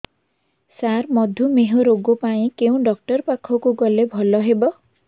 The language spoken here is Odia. ସାର ମଧୁମେହ ରୋଗ ପାଇଁ କେଉଁ ଡକ୍ଟର ପାଖକୁ ଗଲେ ଭଲ ହେବ